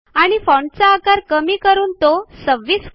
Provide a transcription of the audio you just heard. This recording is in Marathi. आणि फाँटचा आकार कमी करून तो 26 करा